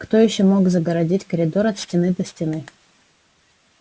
кто ещё мог загородить коридор от стены до стены